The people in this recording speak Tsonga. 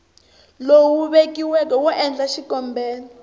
lowu vekiweke wo endla xikombelo